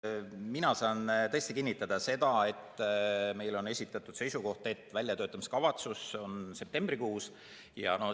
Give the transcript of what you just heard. Mina saan tõesti kinnitada seda, et meile on esitatud seisukoht, et väljatöötamiskavatsus on septembrikuus olemas.